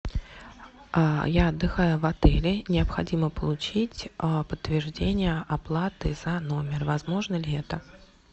я отдыхаю в отеле необходимо получить подтверждение оплаты за номер возможно ли это